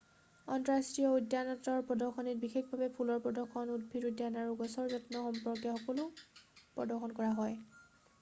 আন্তঃৰাষ্ট্ৰীয় উদ্যানতত্বৰ প্ৰদৰ্শনীত বিশেষভাৱে ফুলৰ প্ৰদৰ্শন উদ্ভিদ উদ্যান আৰু গছৰ যত্ন সম্পৰ্কে সকলো প্ৰদৰ্শন কৰা হয়